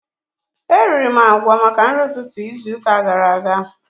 Eriri m agwa maka nri ụtụtụ izu ụka gara aga